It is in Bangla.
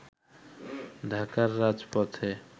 ঢাকার রাজপথে